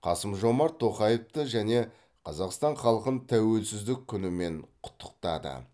қасым жомарт тоқаевты және қазақстан халқын тәуелсіздік күнімен құттықтады